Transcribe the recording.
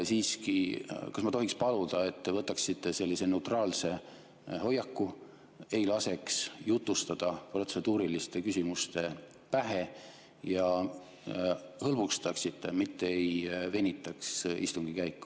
Kas ma tohiks paluda, et te võtaksite neutraalse hoiaku, ei laseks jutustada protseduuriliste küsimuste pähe ja hõlbustaksite istungit, mitte ei venitaks seda?